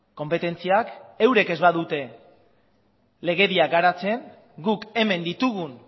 konpetentziak eurek ez badute legedia garatzen guk hemen ditugun